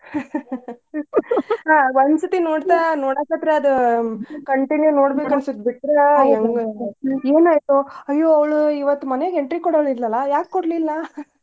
ಹಾ ಒಂದ್ಸರ್ತಿ ನೋಡ್ತಾ ನೋಡಕತ್ರ ಅದ್ continue ನೋಡ್ಬೇಕ್ ಅನ್ಸುತ್ ಬಿಟ್ರ ಎನಾಯಿತೋ ಅಯ್ಯೋ ಅವ್ಳು ಇವತ್ ಮನೆಗೆ entry ಕೊಡೋಳ್ ಇದ್ಲಲ್ಲ ಯಾಕ್ ಕೊಡ್ಲಿಲ್ಲ .